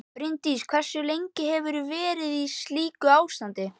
Bryndís: Hversu lengi hefur þú verið í slíku ástandi?